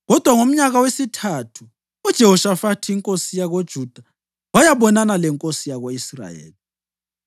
Kodwa ngomnyaka wesithathu uJehoshafathi inkosi yakoJuda wayabonana lenkosi yako-Israyeli.